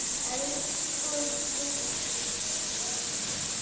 Elsku Biggi.